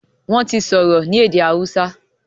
wón ti sọrọ ní èdè hausa.